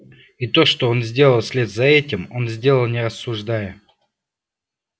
и то что он сделал вслед за этим он сделал не рассуждая